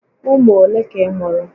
Ụmụ olé ka ị mụ̀rụ̀?